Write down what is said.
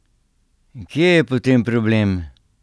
Kje je potem problem?